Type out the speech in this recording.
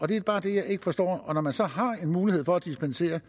det er bare det jeg ikke forstår og når man så har en mulighed for at dispensere